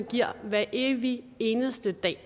hver evig eneste dag